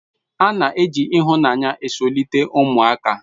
A na-eji ihunanya zulite umuaka